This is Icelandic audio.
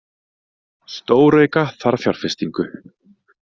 Stórauka þarf fjárfestingu